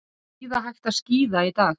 Þingið er óstarfhæft